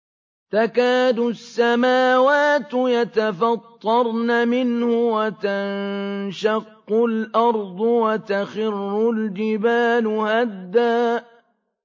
تَكَادُ السَّمَاوَاتُ يَتَفَطَّرْنَ مِنْهُ وَتَنشَقُّ الْأَرْضُ وَتَخِرُّ الْجِبَالُ هَدًّا